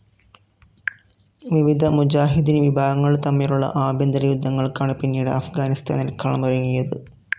വിവിധ മുജാഹിദീൻ വിഭാഗങ്ങൾ തമ്മിലുള്ള ആഭ്യന്തര യുദ്ധങ്ങൾക്കാണ്‌ പിന്നീട്‌ അഫ്‌ഗാനിസ്ഥാനിൽ കളമൊരുങ്ങിയത്‌.